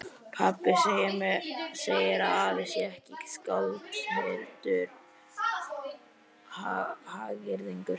Pabbi segir að afi sé ekki skáld heldur hagyrðingur.